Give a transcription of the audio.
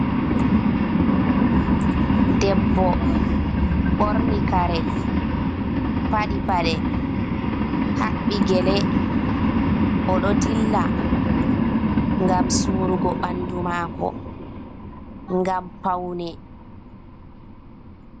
Debbo ɓorni kaare, paɗi paɗee haɓɓi gele, oɗo dilla, ngam surugo ɓandu maako ngam paune.